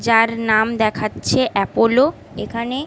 যার নাম দেখাচ্ছে অ্যাপোলো এখানে ।